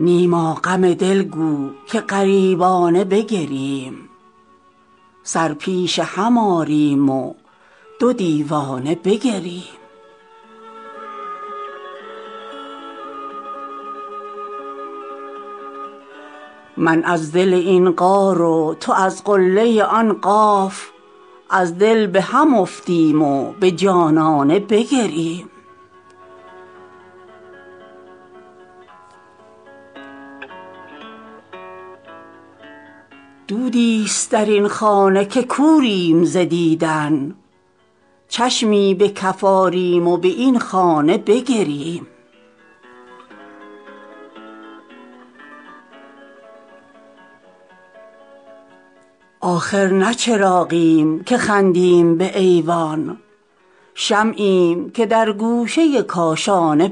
نیما غم دل گو که غریبانه بگرییم سر پیش هم آریم و دو دیوانه بگرییم من از دل این غار و تو از قله آن قاف از دل به هم افتیم و به جانانه بگرییم دودی ست در این خانه که کوریم ز دیدن چشمی به کف آریم و به این خانه بگرییم آخر نه چراغیم که خندیم به ایوان شمعیم که در گوشه کاشانه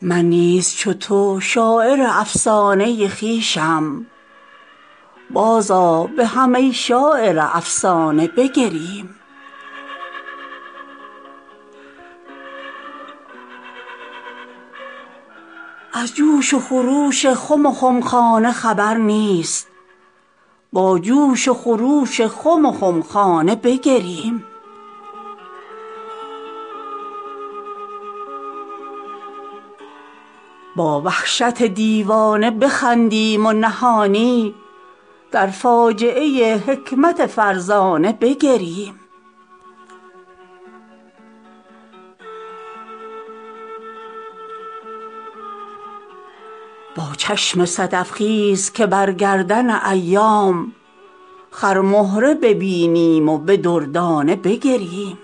بگرییم این شانه پریشان کن کاشانه دل هاست یک شب به پریشانی از این شانه بگرییم من نیز چو تو شاعر افسانه خویشم بازآ به هم ای شاعر افسانه بگرییم پیمان خط جام یکی جرعه به ما داد کز دور حریفان دو سه پیمانه بگرییم برگشتن از آیین خرابات نه مردی ست می مرده بیا در صف میخانه بگرییم از جوش و خروش خم وخمخانه خبر نیست با جوش و خروش خم و خمخانه بگرییم با وحشت دیوانه بخندیم و نهانی در فاجعه حکمت فرزانه بگرییم با چشم صدف خیز که بر گردن ایام خرمهره ببینیم و به دردانه بگرییم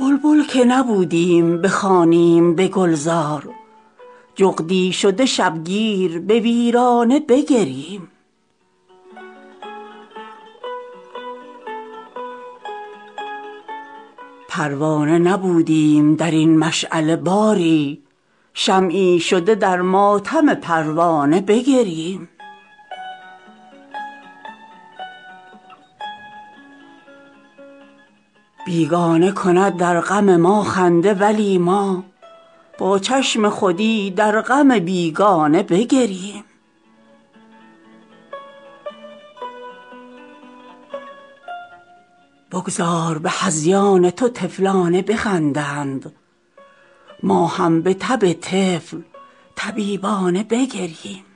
آیین عروسی و چک و چانه زدن نیست بستند همه چشم و چک و چانه بگرییم بلبل که نبودیم بخوانیم به گلزار جغدی شده شبگیر به ویرانه بگرییم پروانه نبودیم در این مشعله باری شمعی شده در ماتم پروانه بگرییم بیگانه کند در غم ما خنده ولی ما با چشم خودی در غم بیگانه بگرییم بگذار به هذیان تو طفلانه بخندند ما هم به تب طفل طبیبانه بگرییم